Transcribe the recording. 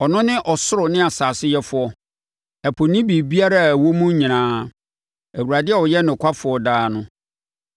Ɔno ne ɔsoro ne asase Yɛfoɔ, ɛpo ne biribiara a ɛwɔ mu nyinaa Awurade a ɔyɛ nokwafoɔ daa no.